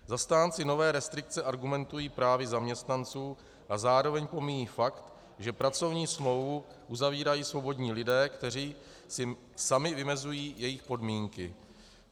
Zastánci nové restrikce argumentují právy zaměstnanců a zároveň pomíjejí fakt, že pracovní smlouvu uzavírají svobodní lidé, kteří si sami vymezují její podmínky.